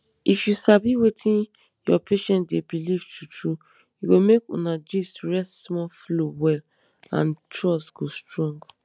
if you sabi wetin your patient dey believe true true e go make una gist (rest small) flow well and trust go strong.